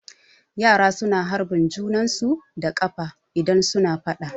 Yara su na harbin junan su da ƙafa idan su na faɗa